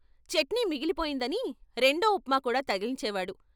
చట్నీ మిగిలిపోయిందని రెండో ఉప్మాకూడా తగిలించేవాడు.